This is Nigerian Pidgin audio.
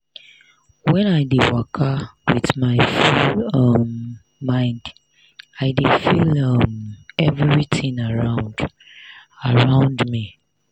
when i dey waka with my full um mind i dey feel um everitin around around me.